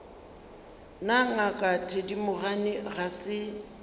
na ngaka thedimogane ga se